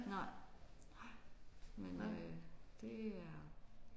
Nej. Men øh det er